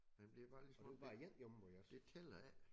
Man bliver bare ligesom om det tæller ikke